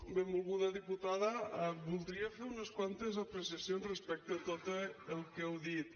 benvolguda diputada voldria fer unes quantes apreciacions respecte a tot el que heu dit